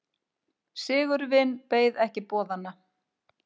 Sigurvin beið ekki boðanna.